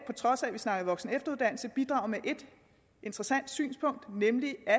trods af at vi snakker voksen og efteruddannelse bidrage med et interessant synspunkt nemlig at